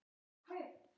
Ég er aðeins að spá.